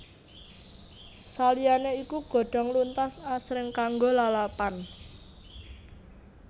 Saliyane iku godhong luntas asring kanggo lalapan